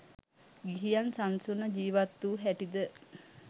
ගිහියන් සන්සුන්ව ජීවත්වූ හැටිද